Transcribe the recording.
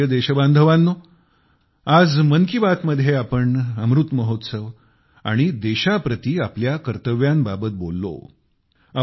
माझ्या प्रिय देशबांधवानो आज मन की बात मध्ये आपण अमृत महोत्सव आणि देशाप्रति आपल्या कर्तव्यांबाबत बोललो